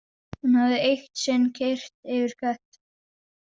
Hún hafði eitt sinn keyrt yfir kött.